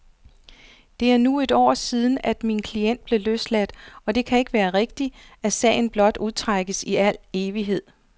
Det er nu et år siden, at min klient blev løsladt, og det kan ikke være rigtigt, at sagen blot udstrækkes i al evighed.